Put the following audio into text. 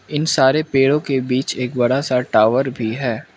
इन सारे पेड़ो के बीच एक बड़ा सा टॉवर भी है।